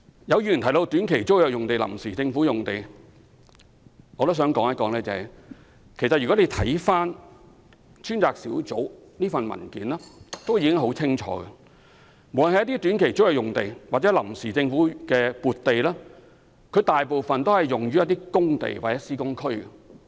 有議員提到短期租約用地和臨時政府撥地。專責小組的文件已經說得很清楚，無論短期租約用地或臨時政府撥地，大部分位於工地或施工區。